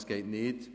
Das geht nicht.